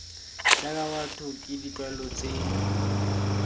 jaaka batho ke ditlwaelo tse